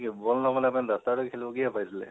ball নবনাই পিনে duster দি খেলবলৈ কিহে পাইছিলে?